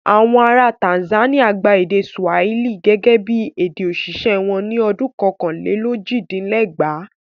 Àwọn ará Tanzania gba èdè Swahili gẹ́gẹ́ bí èdè òṣìṣẹ́ wọn ní ọdún kọkànlélójìdínlẹ́gbàá.